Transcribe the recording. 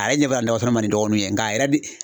A yɛrɛ ɲɛ b' a la dɔgɔtɔrɔ man di n dɔgɔnun ye nka a yɛrɛ di